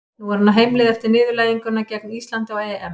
Nú er hann á heimleið eftir niðurlæginguna gegn Íslandi á EM.